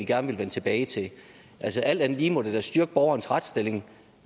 gerne vil vende tilbage til altså alt andet lige må det da styrke borgerens retsstilling